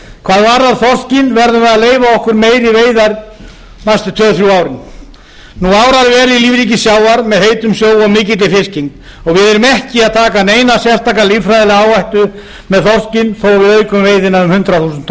hvað varðar þorskinn verðum við að leyfa okkur meiri veiðar næstu tvö þrjú árin nú árar vel í lífríki sjávar með heitum sjó og mikilli fiskigengd og við erum ekki að taka neina sérstaka líffræðilega áhættu með þorskinn þó við aukum veiðina um hundrað þúsund